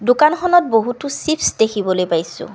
দোকানখনত বহুতো চিপছ দেখিবলৈ পাইছোঁ।